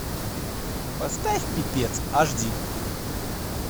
поставь пипец аш ди